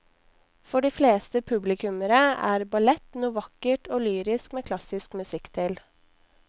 For de fleste publikummere er ballett noe vakkert og lyrisk med klassisk musikk til.